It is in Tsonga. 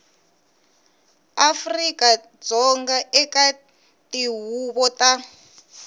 afrika dzonga eka tihuvo ta